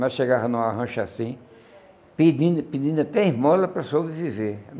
Nós chegava numa rancha assim, pedindo pedindo até esmola para sobreviver.